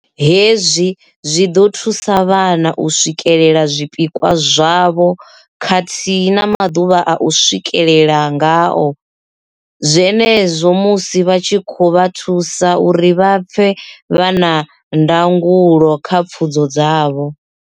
Hezwi zwi ḓo thusa vhana u swikelela zwipikwa zwavho khathihi na maḓuvha a u swikelela ngao, zwenezwo musi vha tshi khou vha thusa uri vha pfe vha na ndangulo kha pfunzo dzavho.